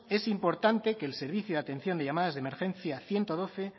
es importante que el servicio de atención de llamadas de emergencias ciento doce